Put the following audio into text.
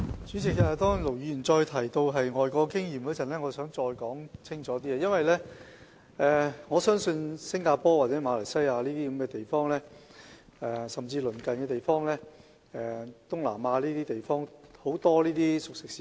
主席，盧議員再次提到外國經驗，我想再說清楚一點，因為我曾多次到訪新加坡、馬來西亞等東南亞地方的熟食市場。